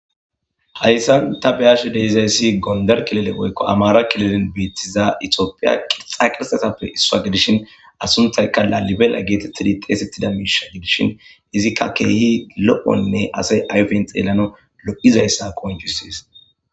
hayssan ta beyashe deizayssi gonder kilele oykko amara kilelen beettiza itiopiya qirxa qirtatappe issua gidishin asuntayka laalibela geetettidi xeesettida miisha gidishin izikka keehi lo7onne asay ayfen xeelano lo7izayssa konjusees